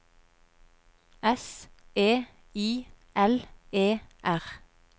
S E I L E R